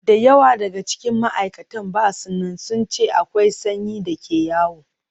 Da yawa daga cikin ma'aikatan ba su nan, sun ce akwai sanyi da ke yawo.